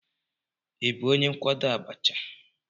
Ị bụ onye nkwado Abacha?